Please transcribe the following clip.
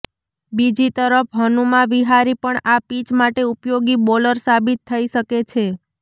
બીજી તરફ હનુમા વિહારી પણ આ પિચ માટે ઉપયોગી બોલર સાબિત થઇ શકે છે